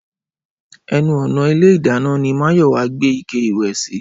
Ẹnu ọ̀nà ilé ìdáná ni Máyọ̀wá gbé ike ìwẹ̀ sí